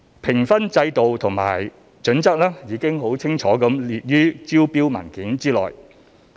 評分制度和準則已清楚列於招標文件內。